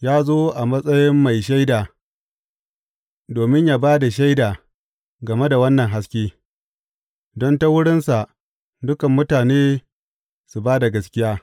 Ya zo a matsayin mai shaida domin yă ba da shaida game da wannan haske, don ta wurinsa dukan mutane su ba da gaskiya.